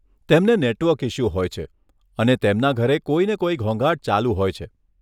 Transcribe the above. તેમને network issue હોય છે, અને તેમના ઘરે કોઈને કોઈ ઘોંઘાટ ચાલુ હોય છે.